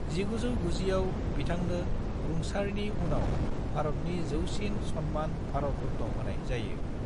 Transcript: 1990 आव बिथांनो रुंसारनिउनाव भारतनि जौसिन नोगोरारि सन्मान भारत रत्न होनाय जायो।